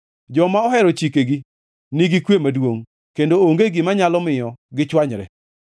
Joma ohero chikeni nigi kwe maduongʼ kendo onge gima nyalo miyo gichwanyre.